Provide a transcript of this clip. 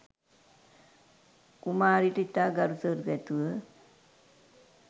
කුමාරිට ඉතා ගරුසරු ඇතිව